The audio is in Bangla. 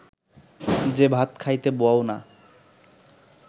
যে ভাত খাইতে বও না